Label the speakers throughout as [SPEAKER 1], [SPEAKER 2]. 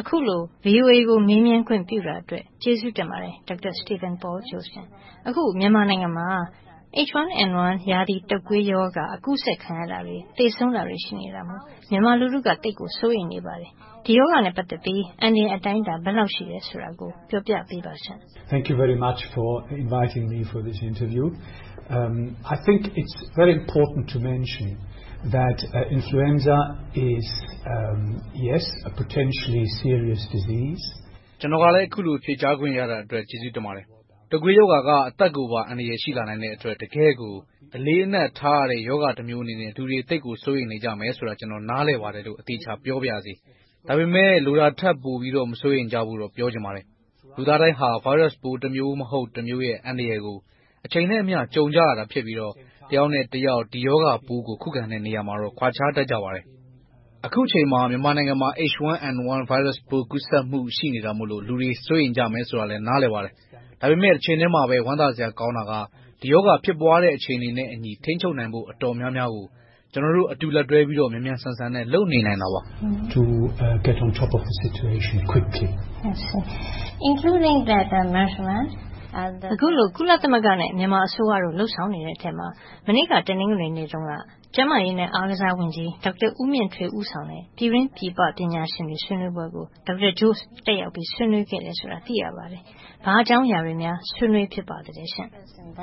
[SPEAKER 1] အခုလို VOA ကို မေးမြန်းခွင့်ပြုတဲ့အတွက် ကျေးဇူးတင်ပါတယ် Dr. Stephan Paul Jost. အခု မြန်မာနိုင်ငံမှာ H1N1 ရာသီတုပ်ကွေးရောဂါ ကူးစက်ခံရတာတွေ၊ သေဆုံးတာတွေ ရှိနေတာမို့ မြန်မာလူထုက သိပ်ကိုစိုးရိမ်နေပါတယ်။ ဒီရောဂါနဲ့ ပတ်သက်ပြီး အန္တရာယ် အတိုင်းအတာ ဘယ်လောက်ရှိတယ်ဆိုတာကို ပြောပြပေးပါရှင့်။
[SPEAKER 2] ကျနော်ကလည်း အခုလို ဖြေကြားခွင့်ရသည့်အတွက် ကျေးဇူးတင်ပါတယ်။ တုပ်ကွေးရောဂါက အသက်ကိုပါ အန္တရာယ် ရှိလာနိုင်တဲ့အတွက် တကယ့်ကို အလေးအနက်ထားရတဲ့ရောဂါ တမျိုးအနေနဲ့ လူတွေ သိပ်ကိုစိုးရိမ်နေကြမယ်ဆိုတာကို ကျနော် နားလည်ပါတယ်လို့ အသေအချာ ပြောပါရစေ။ ဒါပေမဲ့ လိုတာထက်ပိုပြီးတော့ မစိုးရိမ်ကြဖို့တော့ ပြောချင်ပါတယ်။ လူသားတိုင်းဟာ ဗိုင်းရပ်စ်ပိုး တမျိုးမဟုတ်တမျိုးရဲ့ အန္တရာယ်ကို အချိန်နဲ့အမျှ ကြုံကြရတာ ဖြစ်ပြီးတော့ တယောက်နဲ့တယောက် ဒီရောဂါပိုးကို ခုခံတဲ့နေရာမှာတော့ ကွာခြားတတ်ကြပါတယ်။ အခုအချိန်မှာ မြန်မာနိုင်ငံမှာ H1N1 ဗိုင်းရပ်စ်ပိုး ကူးစက်မှု ရှိနေတာမို့ လူတွေစိုးရိမ်ကြမယ်ဆိုတာကို နားလည်ပါတယ်။ ဒါပေမဲ့ တချိန်တည်းမှာပဲ ဝမ်းသာစရာကောင်းတာက ဒီရောဂါ ဖြစ်ပွားတဲ့အချိန်နဲ့အညီ ထိန်းချုပ်နိုင်ဖို့ အတော်များများကို ကျနော်တို့အတူ လက်တွဲပြီးတော့ မြန်မြန်ဆန်ဆန်နဲ့ လုပ်နေနိုင်တာပါ။
[SPEAKER 1] အခုလို ကုလသမဂ္ဂနဲ့ မြန်မာအစိုးရတို့ လုပ်ဆောင်နေတဲ့အထဲမှာ မနေ့က တနင်္ဂနွေနေ့တုန်းက ကျန်းမာရေးနဲ့ အားကစားဝန်ကြီး ဒေါက်တာဦးမြင့်ထွေး ဦးဆောင်တဲ့ ပြည်တွင်းပြည်ပ ပညာရှင်တွေ ဆွေးနွေးပွဲကို Dr. Jost တက်ရောက်ပြီး ဆွေးနွေးခဲ့တယ်ဆိုတာကို သိရပါတယ်။ ဘာအကြောင်းအရာတွေများ ဆွေးနွေးဖြစ်ပါသလဲရှင့်။
[SPEAKER 2] ဟုတ်ပ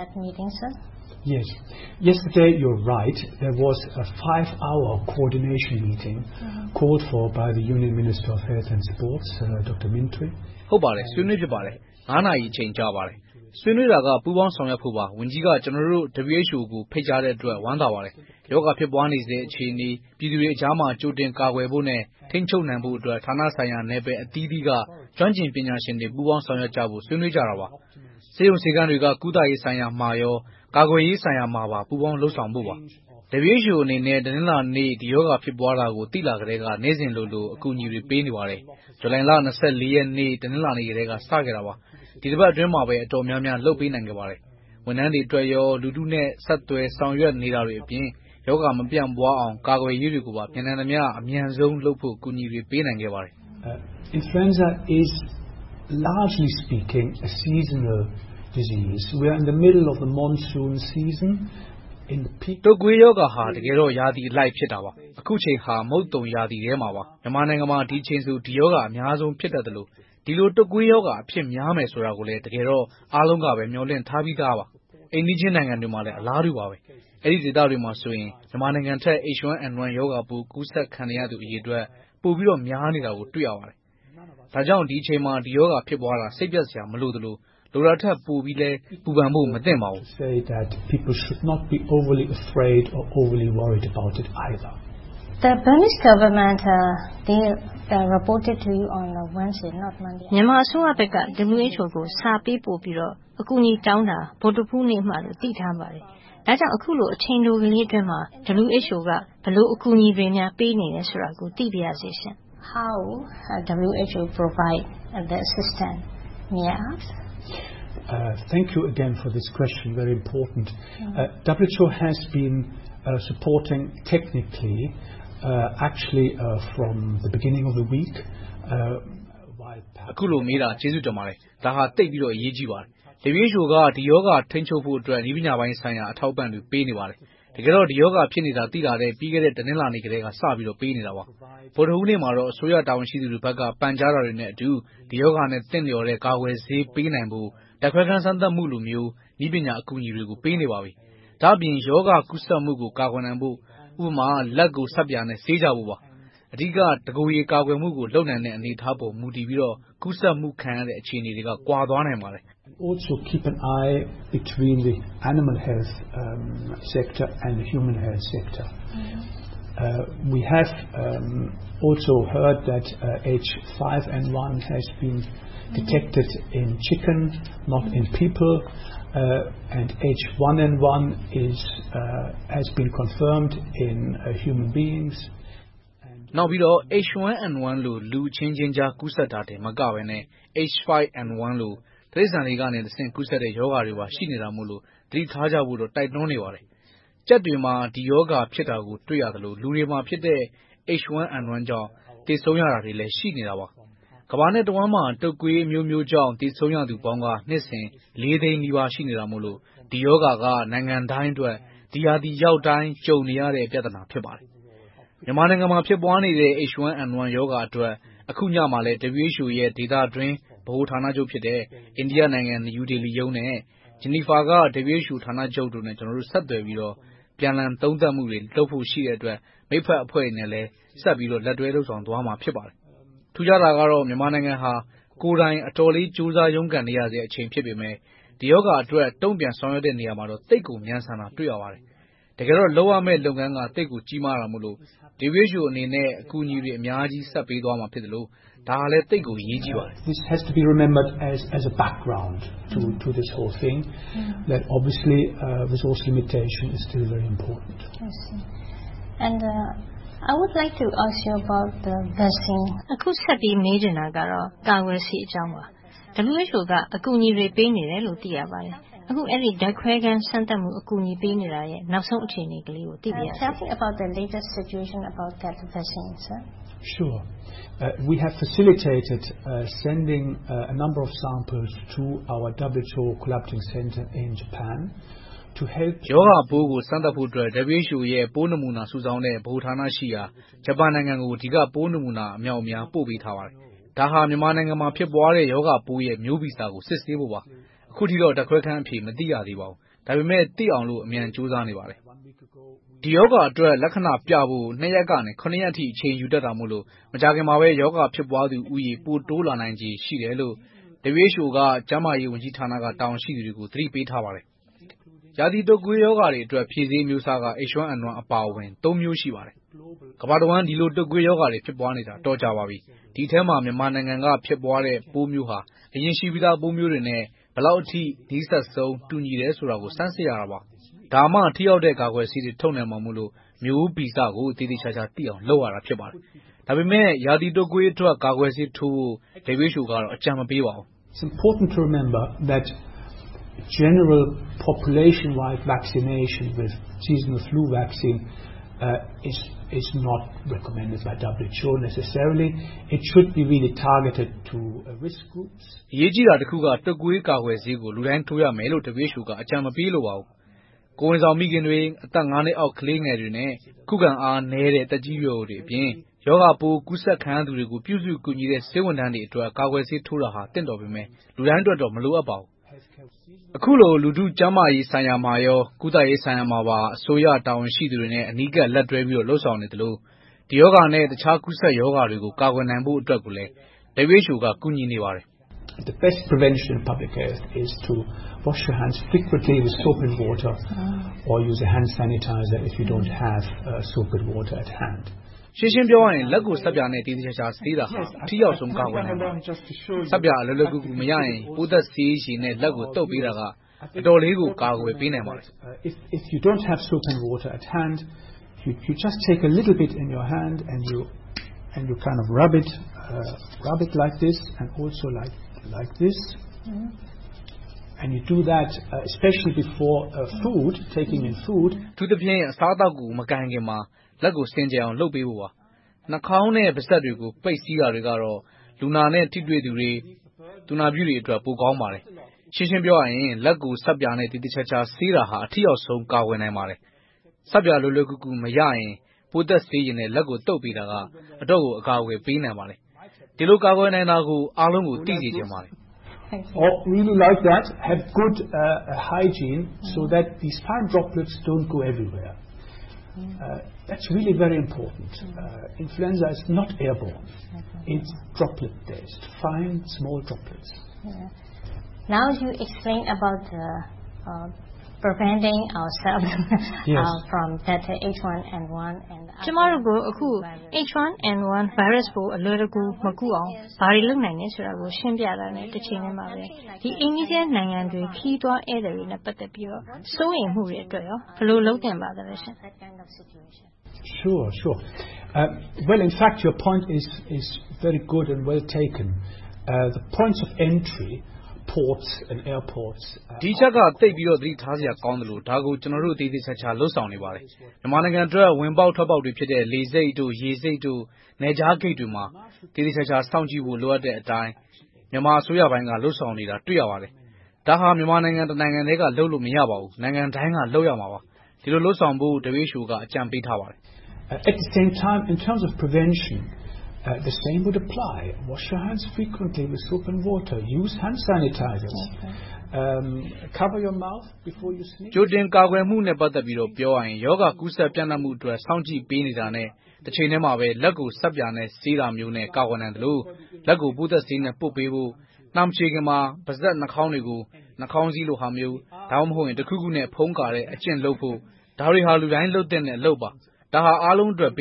[SPEAKER 2] ါတယ်။ ဆွေးနွေးဖြစ်ပါတယ်။ ငါးနာရီအချိန် ကြာပါတယ်။ ဆွေးနွေးတာက ပူးပေါင်းဆောင်ရွက်ဖို့ပါ။ ဝန်ကြီးက ကျနော်တို့ WHO ကို ဖိတ်ကြားတဲ့အတွက် ဝမ်းသာပါတယ်။ ရောဂါဖြစ်ပွားနေဆဲ အခြေအနေ၊ ပြည်သူတွေကြားမှာ ကြိုတင်ကာကွယ်ဖို့နဲ့၊ ထိန်းချုပ်နိုင်ဖို့အတွက် ဌာနဆိုင်ရာ နယ်ပယ်အသီးသီးက ကျွမ်းကျင်ပညာရှင်တွေ ပူးပေါင်းဆောင်ရွက်ကြဖို့ ဆွေးနွေးကြတာပါ။ ဆေးရုံဆေးခန်းတွေက ကုသရေးဆိုင်ရာမှာ၊ ကာကွယ်ရေးဆိုင်ရာမှာ ပူးပေါင်းလုပ်ဆောင်ဖို့ပါ။ WHO အနေနဲ့ တနင်္လာနေ့ ဒီရောဂါ ဖြစ်ပွားတာကို သိလာကတည်းက နေ့စဉ်လိုလို အကူအညီတွေ ပေးနေပါတယ်။ ဇူလိုင်လ ရက်နေ့ တနင်္လာနေ့ကတည်းက စခဲ့တာပါ။ ဒီတပတ်အတွင်းမှာ အတော်များများ လုပ်ပေးနိုင်ခဲ့ပါတယ်။ ဝန်ထမ်းတွေအတွက်၊ လူထုနဲ့ ဆက်သွယ်ဆောင်ရွက်နေတာအပြင် ရောဂါမပြန့်ပွားအောင် ကာကွယ်ရေးတွေကိုပါ မြန်နိုင်သမျှ အမြန်ဆုံးလုပ်ဖို့ အကူအညီတွေ ပေးနိုင်ခဲ့ပါတယ်။ တုပ်ကွေးရောဂါဟာ ရာသီအလိုက် ဖြစ်တာပါ။ အခုအချိန်ဟာ မုတ်သုန်ရာသီထဲမှာပါ။ မြန်မာနိုင်ငံမှာ ဒီအချိန်မှာဆို ဒီရောဂါအများဆုံး ဖြစ်တတ်သလို၊ ဒီလို တုပ်ကွေးရောဂါ အဖြစ်များမယ်ဆိုတာကို တကယ်တော့ အားလုံးကပဲ မျှော်လင့်ထားပြီသားပါ။ အိမ်နီးချင်းနိုင်ငံတွေမှာလည်း အလားတူပါပဲ။ အဲဒီဒေသတွေမှာဆိုရင် မြန်မာနိုင်ငံထက် H1N1 ရောဂါ ပိုကူးစက်နေတဲ့ အရေအတွက် ပိုပြီးတော့ များနေတာကို တွေ့ရပါတယ်။ ဒါကြောင့် ဒီအချိန်မှာ ဒီရောဂါ ဖြစ်ပွားတာ စိတ်ပျက်စရာ မလိုသလို၊ လိုတာထက် ပိုပြီးတော့လည်း ပူပန်ဖို့ မသင့်ပါဘူး။
[SPEAKER 1] မြန်မာအစိုးရဘက်က WHO ကို စာပေးပို့ပြီးတော့ အကူအညီတောင်းတာ ဗုဒ္ဓဟူးနေ့မှလို့ သိထားပါတယ်။ ဒါကြောင့် အခုလို အချိန်တိုအတွင်းမှာ WHO က ဘယ်လို အကူအညီတွေ ပေးနေတယ်ဆိုတာကို သိပါရစေရှင့်။
[SPEAKER 2] အခုလိုမေးတာကို ကျေးဇူးတင်ပါတယ်။ ဒါဟာ သိပ်ပြီးတော့ အရေးကြီးပါတယ်။ WHO က ဒီရောဂါ ထိန်းချုပ်ဖို့အတွက် နည်းပညာပိုင်းဆိုင်ရာ အထောက်အပံ့တွေ ပေးနေပါတယ်။ တကယ်တော့ ဒီရောဂါ ဖြစ်နေတာကို သိလာတဲ့ လွန်ခဲ့တဲ့ တနင်္လာနေ့ကတည်းက စပြီးတော့ ပေးနေတာပါ။ ဗုဒ္ဓဟူးနေ့မှာတော့ အစိုးရဘက်က တာဝန်ရှိသူတွေရဲ့ ပန်ကြားတာတွေနဲ့အတူ ဒီရောဂါနဲ့ သင့်လျော်တဲ့ ကာကွယ်ဆေးတွေ ပေးနိုင်ဖို့ ဓါတ်ခွဲခန်း စမ်းသပ်မှုမျိုး နည်းပညာအကူအညီတွေကို ပေးနေပါပြီ။ ဒါ့အပြင် ရောဂါကူးစက်မှုကို ကာကွယ်နိုင်ဖို့.. ဥပမာ လက်ကို ဆပ်ပြာနဲ့ ဆေးကြဖို့ပါ။ အဓိက တကိုယ်ရေ ကာကွယ်မှုကို လုပ်နိုင်တဲ့ အနေအထားပေါ် မူတည်ပြီးတော့ ကူးစက်မှု ခံရတဲ့ အခြေအနေတွေက ကွာသွားနိုင်ပါတယ်။ နောက်ပြီးတော့ H1N1 လို လူအချင်းချင်း ကူးစက်တာတင်မကဘဲနဲ့ H5N1 လို တိရစ္ဆာန်တွေကတဆင့် ကူးစက်တဲ့ ရောဂါတွေပါ ရှိနေတာမို့ သတိထားဖို့ိကို တိုက်တွန်းနေပါတယ်။ ကြက်တွေမှာ ဒီရောဂါ ဖြစ်တာကို တွေ့ရသလို၊ လူတွေမှာဖြစ်တဲ့ H1N1 ကြောင့် သေဆုံးရတာတွေလည်း ရှိနေတာပါ။ ကမ္ဘာနဲ့တဝှမ်းမှာ တုပ်ကွေးအမျိုးမျိုးကြောင့် သေဆုံးရသူအပေါင်းက နှစ်စဉ် လေးသိန်းနီးပါး ရှိနေတာမို့ ဒီရောဂါက နိုင်ငံတိုင်းအတွက် ဒီရာသီရောက်တိုင်း ကြုံနေရတဲ့ ပြဿနာ ဖြစ်ပါတယ်။ မြန်မာနိုင်ငံမှာ ဖြစ်ပွားနေတဲ့ H1N1 ရောဂါအတွက် အခုညမှာလည်း WHO ရဲ့ ဒေသအတွင်း ဗဟိုဌာနချုပ်ဖြစ်တဲ့ အိန္ဒိယနိုင်ငံ နယူးဒေလီရုံးနဲ့ ဂျနီဗားက WHO ဌာနချုပ်တို့နဲ့ ကျနော်တို့ ဆက်သွယ်ပြီးတော့ အပြန်အလှန်သုံးသပ်မှုတွေ ရှိတဲ့အတွက် မက်ဖက်အဖွဲ့တွေနဲ့လည်း ဆက်ပြီးတော့ လက်တွဲလုပ်ဆောင်သွားရမှာ ဖြစ်ပါတယ်။ ထူးခြားတာကတော့ မြန်မာနိုင်ငံဟာ ကိုယ်တိုင်အတော်လေး ကြိုးစားရုန်းကန်နေရဆဲ ဖြစ်ပေမယ့် ဒီရောဂါအတွက် တုံ့ပြန်ဆောင်ရွက်တဲ့နေရာမှာ သိပ်ကို မြန်ဆန်လွန်လှပါတယ်။ တကယ်တော့ လုပ်ရမယ့် လုပ်ငန်းက သိပ်ကို ကြီးမားတာမို့ WHO အနေနဲ့ အကူအညီတွေ အများကြီး ဆက်သွယ်ဖို့ကောင်းတဲ့ စနစ် - ဒါကလဲ သိပ်ကိုအရေးကြီးပါတယ်။
[SPEAKER 1] အခုဆက်ပြီး မေးချင်တာက ကာကွယ်ဆေးအကြောင်းပါ။ WHO က အကူအညီတွေ ပေးနေတယ်လို့ သိရပါတယ်။ အခု ဓါတ်ခွဲခန်းစမ်းသပ်မှု အကူအညီပေးနေတာရဲ့ နောက်ဆုံး အခြေအနေလေးကို သိပါရစေ။
[SPEAKER 2] ရောဂါပိုးကို စမ်းသပ်ဖို့အတွက် WHO ရဲ့ ပိုးနမူနာ စုဆောင်းတဲ့ ဗဟိုဌာနရှိရာ ဂျပန်နိုင်ငံကို ဒီက ပိုးနမူနာ အမြောက်အမြား ပို့ပေးထားပါတယ်။ ဒါ မြန်မာနိုင်ငံမှာ ဖြစ်ပွားတဲ့ ရောဂါပိုးရဲ့ မျိုးဗီဇကို စစ်ဆေးဖို့ပါ။ အခုထိတော့ ဓါတ်ခွဲခန်းအဖြေ မသိရသေးပါဘူး။ ဒါပေမဲ့ သိအောင်လို့ အမြန်ကြိုးစားနေကြပါတယ်။ ဒီရောဂါအတွက် လက္ခဏပြဖို့ နှစ်ရက်ကနေ ခုနှစ်ရက်အထိ အချိန်ယူတတ်တာမို့ မကြာခင်မှာပဲ ရောဂါဖြစ်ပွားသူဦးရေ ပိုတိုးလာနိုင်ချေ ရှိတယ်လို့ WHO က ကျန်းမာရေးဝန်ကြီးဌာနက တာဝန်ရှိသူတွေကို သတိပေးထားပါတယ်။ ရာသီတုပ်ကွေးရောဂါတွေအတွက် ဖြေဆေးအမျိုးအစားက H1N1 အပါအဝင် သုံးမျိုး ရှိပါတယ်။ ကမ္ဘာတဝှမ်း ဒီလို တုပ်ကွေးရောဂါတွေ ဖြစ်ပွားနေတာ အတော်ကြာပါပြီ။ ဒီအထဲမှာ မြန်မာနိုင်ငံက ဖြစ်ပွားတဲ့ ပိုးတမျိုးဟာ အရင်ရှိပြီးသား ပိုမျိုးတွေနဲ့ ဘယ်လောက်အထိ နီးစပ်ဆုံး၊ တူညီတယ်ဆိုတာကို စမ်းစစ်ရမှာပါ။ ဒါမှ ထိရောက်တဲ့ ကာကွယ်ဆေးတွေ ထုတ်နိုင်မှာမို့ မျိုးဗီဇကို သေသေချာချာသိအောင် လုပ်ရတာ ဖြစ်ပါတယ်။ ဒါပေမဲ့ ရာသီတုပ်ကွေးအတွက် ကာကွယ်ဆေးထိုးဖို့ WHO က အကြံမပေးပါဘူး။ အရေးကြီးတာတခုက တုပ်ကွေးကာကွယ်ဆေးကို လူတိုင်းထိုးရမယ်လို့ WHO က အကြံပေး မလိုပါဘူး။ ကိုယ်ဝန်ဆောင်မိခင်တွေ အသက်ငါးနှစ်အောက် ကလေးတွေနဲ့ ခုခံအားနည်းတဲ့ သက်ကြီးရွယ်အိုတွေအပြင် ရောဂါပိုးရှိသူတွေကို ပြုစုလုပ်ပေးရတဲ့ ဆေးဝန်ထမ်းတွေအတွက် ကာကွယ်ဆေးထိုးတာဟာ သင့်တော်ပေမယ့် လူတိုင်းအတွက်တော့ မလိုအပ်ပါဘူး။ အခုလို လူထုကျန်းမာရေးဆိုင်ရာမှာရော၊ ကုသရေးဆိုင်ရာမှာပါ အစိုးရတာဝန်ရှိသူတွေနဲ့ အနီးကပ် လက်တွဲပြီးတော့ လုပ်ဆောင်နေသလို။ ဒီရောဂါနဲ့ တခြားကူးစက်ရောဂါတွေကို ကာကွယ်နိုင်ဖို့အတွက်လည်း WHO က ကူညီနေပါတယ်။ ရှင်းရှင်းပြောရရင် လက်ကို ဆပ်ပြာနဲ့ သေသေချာချာ ဆေးတာဟာ ထိရောက်ဆုံး ကာကွယ်နိုင်တာပါ။ ဆပ်ပြာလွယ်လွယ်ကူကူ မရရင် ပိုးသတ်ဆေးရေနဲ့ သုတ်ပေးတာက အတော်လေးကို ကာကွယ်ပေးနိုင်ပါတယ်။ အထူးသဖြင့် အစားအသောက်ကို မကိုင်ခင်မှာ လက်ကိုစင်ကြယ်အောင် လုပ်ပေးဖို့ပါ။ နှားခေါင်းနဲ့ ပါးစပ်တွေကို ပိတ်စီးတာတွေကတော့ လူနာနဲ့ ထိတွေ့သူ၊ သူနာပြုတွေအတွက် ပိုကောင်းပါတယ်။ ရှင်းရှင်းပြောရရင် လက်ကိုဆပ်ပြာနဲ့ သေသေချာချာ ဆေးတာဟာ အထိရောက်ဆုံး ကာကွယ်နိုင်ပါတယ်။ ဆပ်ပြာလွယ်လွယ်ကူကူ မရရင် ပိုးသတ်ဆေးရေနဲ့ သုတ်ပေးတာက အတော်ကို အကာအကွယ်ပေးနိုင်ပါတယ်။ ဒီလို ကာကွယ်နိုင်တာကို အားလုံးကို သိစေချင်ပါတယ်။
[SPEAKER 1] ကျမတို့ကို H1N1 ပိုး အလွယ်တကူ မကူးအောင် ဘာတွေလုပ်နိုင်တယ်ဆိုတာကို ရှင်းပြတာနဲ့ တချိန်တည်းမှာပဲ အိမ်နီးချင်းနိုင်ငံတွေ ခရီးသွားတွေနဲ့ ပတ်သက်ပြီးတော့ စိုးရိမ်မှုတွေအတွက် ဘယ်လို လုပ်သင့်ပါလဲရှင့်။
[SPEAKER 2] ဒီအချက်က သိပ်ပြီးတော့ သတိထားစရာ ကောင်းသလို၊ ဒါကို ကျနော်တို့ သေသေချာချာ လုပ်ဆောင်နေပါတယ်။ မြန်မာနိုင်ငံအတွက် ဝင်ပေါက်ထွက်ပေါက်တွေဖြစ်တဲ့ လေဆိပ်၊ ရေဆိပ်၊ နယ်ခြားဂိတ်တွေမှာ သေသေချာချာ စောင့်ကြည့်ဖို့ လိုအပ်တဲ့အတိုင်း မြန်မာအစိုးရပိုင်းက လုပ်ဆောင်နေတာ တွေ့ရပါတယ်။ ဒါဟာ မြန်မာနိုင်ငံတနိုင်ငံထဲကလုပ်လို့ မရပါဘူး။ နိုင်ငံတိုင်းက လုပ်ရမှာပါ။ ဒီလိုလုပ်ဆောင်ဖို့ WHO က အကြံပေးထားပါတယ်။ ကြိုတင်ကာကွယ်မှုနဲ့ ပတ်သက်ပြီး ပြောရရင် ရောဂါပြန့်နံှမှုအတွက် စောင့်ကြည့်ပေးနေတာနဲ့ တချိန်တည်းမှာ လက်ကိုဆပ်ပြာနဲ့ဆေးတာမျိုးနဲ့ ကာကွယ်နိုင်သလို လက်ကိုပိုးသတ်ဆေးနဲ့ ပွတ်ပေးဖို့ နှားမချေးခင်မှာ ပါးစပ် နှားခေါင်းတွေကို နှားခေါင်းစီးလို့ဟာမျိုး တခုခုနဲ့ ဖုံးကာတဲ့အကျင့်လုပ်ဖို့ ဒါတွေဟာ လူတိုင်းလုပ်သင့်တဲ့ အလုပ်ပါ။ ဒါဟာ လူတိုင်းအတွက်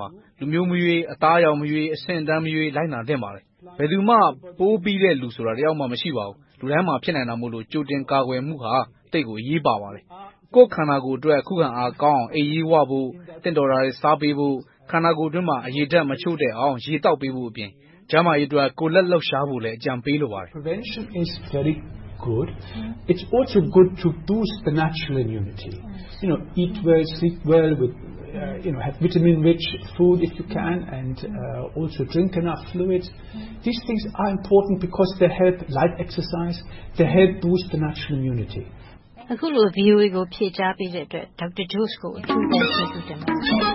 [SPEAKER 2] ပါ။ လူမျိုးမရွေး အသားရောင်မရွေး အဆင့်အတန်းမရွေး လိုက်နာသင့်ပါတယ်။ ဘယ်သူမှ ပိုးပီတဲ့လူဆိုတာ တယောက်မှ မရှိပါဘူး။ လူတိုင်းမှာ ဖြစ်နိုင်တာမို့ ကြိုတင်ကာကွယ်မှုဟာ သိပ်ကိုအရေးပါပါတယ်။ ကိုယ်ခန္ဓာ ခုခံအားကောင်းအောင် အိပ်ရေးဝဖို့၊ သင့်တော်တာတွေစားဖို့ ခန္ဓာကိုယ်အတွင်းမှာ ရေဓါတ် မချို့တဲ့အောင် ရေသောက်ပေးဖို့အပြင် ကျန်းမာရေးအတွက် ကိုယ်လက်လှုပ်ရှားဖို့လည်း အကြံပေးလိုပါတယ်။
[SPEAKER 1] အခုလို ဖြေကြားပေးတဲ့အတွက် Dr. Jost ကို ကျေးဇူးအထူးတင်ပါတယ်။